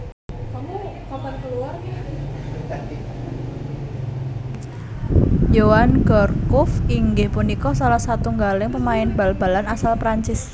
Yoann Gourcuff inggih punika salah satunggaling pemain Bal balan asal Perancis